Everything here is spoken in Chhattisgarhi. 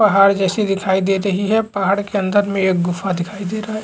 पहाड़ जैसी दिखाई दे रही है पहाड़ के अंदर में एक गुफा दिखाई दे रहा है।